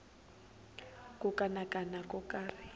ku kanakana ko karhi ehenhla